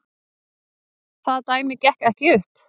Það dæmi gekk ekki upp.